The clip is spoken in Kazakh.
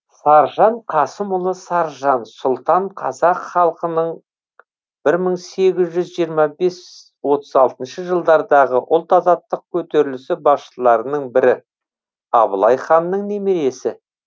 саржан қасымұлы саржан сұлтан қазақ халқының бір мың сегіз жүз жиырма бес отыз алтыншы жылдардағы ұлт азаттық көтерілісі басшыларының бірі абылай ханның немересі